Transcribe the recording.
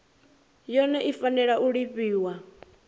yone i fanela u lifhiwa